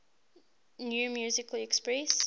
new musical express